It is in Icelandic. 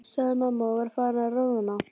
sagði mamma og var farin að roðna.